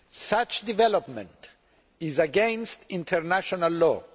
Such a development is against international law.